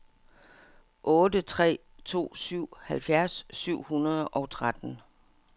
otte tre to syv halvfjerds syv hundrede og tretten